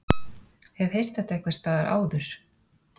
Hef heyrt þetta einhversstaðar áður.